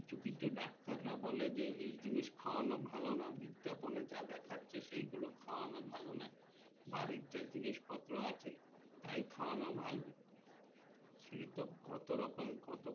কিছু কিছু ডাক্তার রা বলে যে এই জিনিসটা খায়ানো ভালো না বিজ্ঞাপনএ যা দেখাচ্ছেসেই গুলো খয়ানো ভালো না বাড়ির যা জিনিস পত্র আছে তাই খয়ানো ভালো সে তো কত রকম কত